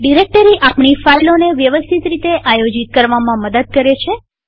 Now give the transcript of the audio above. directory આપણી ફાઈલોને વ્યવસ્થિત રીતે આયોજિતઓર્ગેનાઈઝ કરવામાં મદદ કરે છે